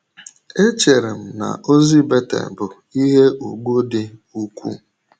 Echere m na ozi Betel bụ ihe ùgwù dị ukwuu